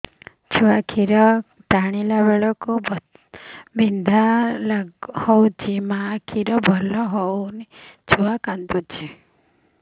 ଛୁଆ ଖିର ଟାଣିଲା ବେଳକୁ ବଥା ଲାଗୁଚି ମା ଖିର ଭଲ ହଉନି ଛୁଆ କାନ୍ଦୁଚି